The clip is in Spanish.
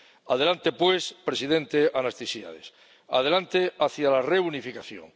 Adelante, pues, presidente Anastasiades, adelante hacia la reunificación.